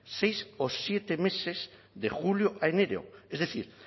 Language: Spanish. seis o siete meses de julio a enero es decir